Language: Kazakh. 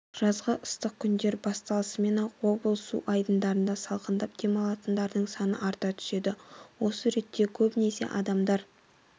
жазғы ыстық күндер басталысымен-ақ облыс су айдындарында салқындап демалатындардың саны арта түседі осы ретте көбінесе адамдар